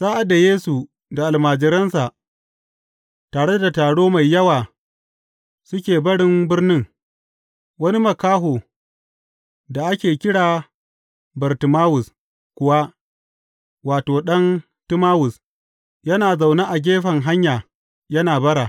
Sa’ad da Yesu da almajiransa tare da taro mai yawa suke barin birnin, wani makaho da ake kira Bartimawus kuwa wato, ɗan Timawus, yana zaune a gefen hanya yana bara.